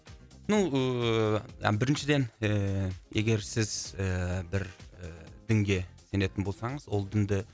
ну ііі біріншіден ііі егер сіз ііі бір дінге сенетін болсаңыз ол дінді